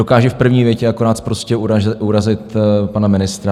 Dokáže v první větě akorát sprostě urazit pana ministra.